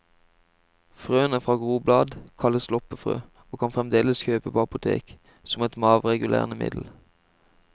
Frøene fra groblad kalles loppefrø, og kan fremdeles kjøpes på apotek, som et maveregulerende middel.